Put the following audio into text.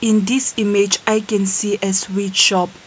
in this image i can see a sweet shop.